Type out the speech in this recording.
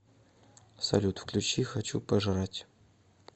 салют включи хочу пожрать